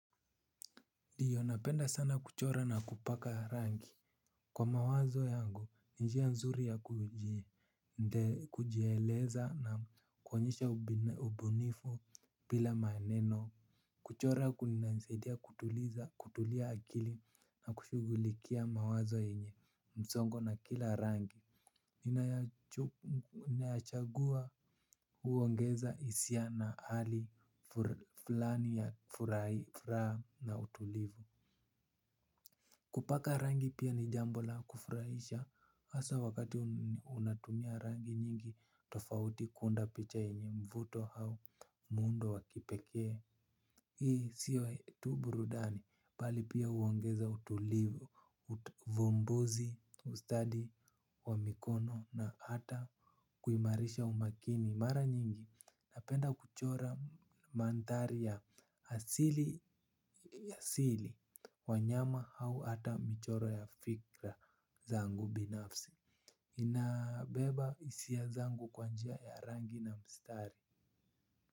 Ndio napenda sana kuchora na kupaka rangi. Kwa mawazo yangu ni njia nzuri ya kujieleza na kuonyesha ubunifu bila maneno. Kuchora kunanisaidia kutulia akili na kushughulikia mawazo yrnye msongo na kila rangi ninayachagua huongeza hisia na hali fulani ya furaha na utulivu. Kupaka rangi pia ni jambo la kufurahisha hasa wakati unatumia rangi nyingi tofauti kuunda picha yrnye mvuto au muundo wa kipekee. Hii sio tu burudani bali pia huongeza utulivu uvumbuzi ustadi wa mikono na hata kuimarisha umakini mara nyingi napenda kuchora mandhari ya asili ya asili wanyama au hata michoro ya fikra zangu binafsi. Inabeba hisia zangu kwa njia ya rangi na mstari.